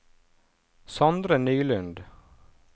Sondre Nylund